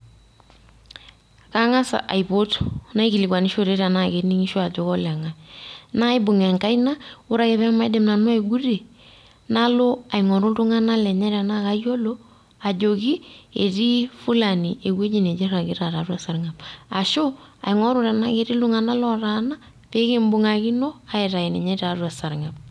Kang`as aipot naikilikuanishore tenaa kening`isho ajo koleng`ae naa ibung enkaina ore ake pee maidim nanu aigutie, nalo aing`oru iltung`anak lenye tenaa kayiolo ajoki, etii fulani ewueji nenye irragita tiatua esarng`ab. Ashu aing`oru tenaa ketii iltung`anak otaana pee kimbung`akino aitayu ninye tiatua esarng`ab.